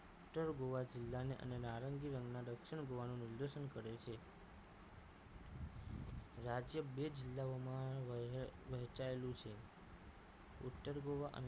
ઉત્તર ગોવા જિલ્લાને અને નારંગી રંગના દક્ષિણ ગોવાનું નિર્દેશન કરે છે રાજ્ય બે જિલ્લાઓમાં વેચાયેલું છે ઉત્તર ગોવા અને